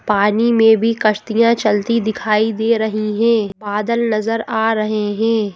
पानी में भी कश्तियां चलती दिखाई दे रही हैं बादल नजर आ रहे हैं।